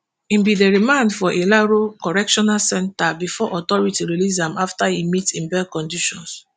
e bin dey remand for ilaro correctional centre bifor authority release am afta e meet im bail conditions.